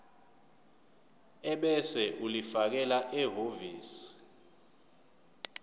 ebese ulifakela ehhovisi